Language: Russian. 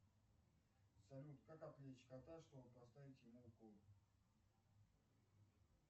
салют как отвлечь кота чтобы поставить ему укол